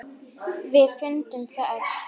Við fundum það öll.